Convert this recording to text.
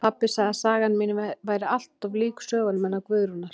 Pabbi sagði að sagan mín væri allt of lík sögunum hennar Guðrúnar